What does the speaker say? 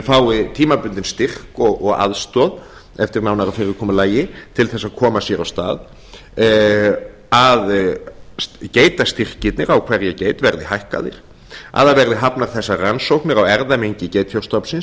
fái tímabundinn styrk og aðstoð eftir nánara fyrirkomulagi til að koma sér af stað að geitastyrkirnir á hverja geit verði hækkaðir að það verði hafnar þessar rannsóknir á erfðamengi geitfjárstofnsins